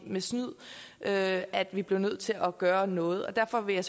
med snyd at at vi blev nødt til at gøre noget derfor vil jeg